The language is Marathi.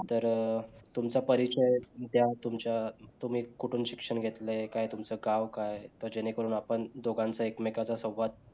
तर तुमचा परिचय द्दा तुमच्या तुम्ही कुठून शिक्षण घेतलाय काय तुमच गाव काय त जेणे करून आपण दोघांच एकमेकाच संवाद